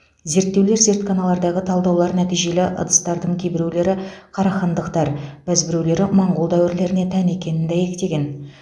зерттеулер зертханалардағы талдаулар нәтижелі ыдыстардың кейбіреулері қарахандықтар бәзбіреулері моңғол дәуірлеріне тән екенін дәйектеген